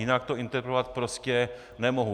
Jinak to interpretovat prostě nemohu.